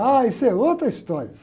Ah, isso é outra história.